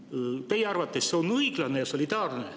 Kas see on teie arvates õiglane ja solidaarne?